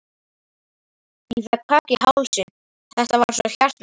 Ég fékk kökk í hálsinn, þetta var svo hjartnæmt.